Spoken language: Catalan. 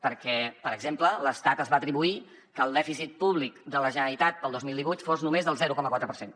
perquè per exemple l’estat es va atribuir que el dèficit públic de la generalitat per al dos mil divuit fos només del zero coma quatre per cent